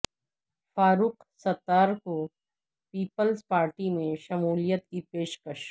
فاروق ستار کو peoples party میں شمولیت کی پیشکش